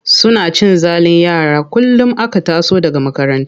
Suna cin zalin yara kullum aka taso daga makaranta.